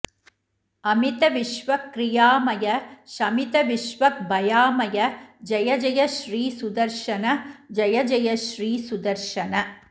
अमित विश्वक्रियामय शमित विश्वग्भयामय जय जय श्री सुदर्शन जय जय श्री सुदर्शन